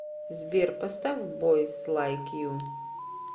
сбер поставь бойс лайк ю